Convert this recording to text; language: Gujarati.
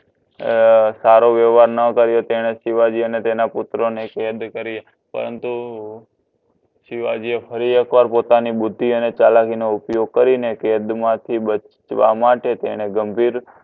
અ સારો વ્યવહાર ન કર્યો તને શિવજી અને તેના પુત્ર ને કેદ કરી પરંતુ શિવજી એ ફરી એક પોતાની બુદ્ધિ અને ચલાવી ને ઉપયોગ કરી ને કેદ મા થી બચવા માટે તને ગંભીર